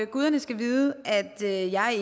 guderne skal vide at jeg